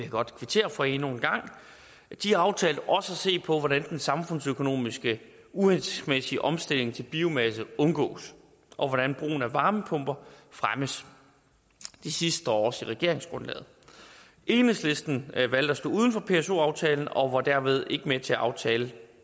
godt kvittere for endnu en gang aftalte også at se på hvordan den samfundsøkonomisk uhensigtsmæssige omstilling til biomasse undgås og hvordan brugen af varmepumper fremmes det sidste står også i regeringsgrundlaget enhedslisten valgte at stå udenfor pso aftalen og var dermed ikke med til at aftale